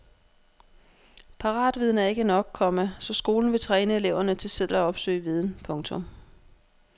Paratviden er ikke nok, komma så skolen vil træne eleverne til selv at opsøge viden. punktum